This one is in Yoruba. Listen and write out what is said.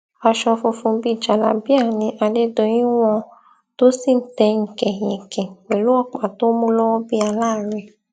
aṣọ funfun bíi jálábíà ni adédọyìn wọn tó sì ń tẹyìnkẹ yẹnké pẹlú ọpá tó mú lọwọ bíi aláàárẹ